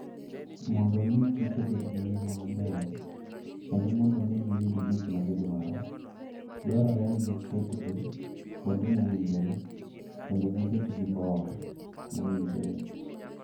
Mondo omi kich obed gi ngima maber kendo mondo giyud gik ma gidwaro, dwarore ni giketgi kuonde mowinjore kendo gibed gi bor mowinjore.